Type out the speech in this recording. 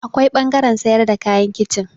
Akwai ɓangaren sayar da kayan kicin.